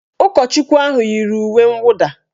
Ụkọchukwu ahụ yiri uwe nwụda